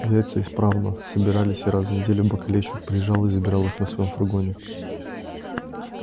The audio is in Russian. яйца исправно собирались и раз в неделю бакалейщик приезжал их забирать на своём фургоне